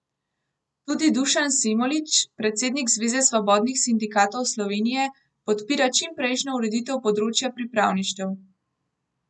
Tudi Dušan Semolič, predsednik Zveze svobodnih sindikatov Slovenije, podpira čim prejšnjo ureditev področja pripravništev.